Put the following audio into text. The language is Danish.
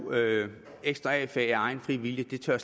ekstra a fag af egen fri vilje tør